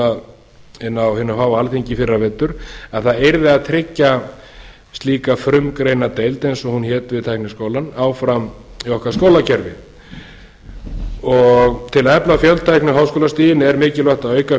inni á hinu háa alþingi í fyrravetur að það yrði að tryggja slíka frumgreinadeild eins og hún hét við tækniháskólann áfram í okkar skólakerfi til að efla fjöltækni og háskólastigin er mikilvægt að auka